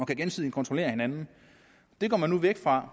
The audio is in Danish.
kan gensidigt kontrollere hinanden det går man nu væk fra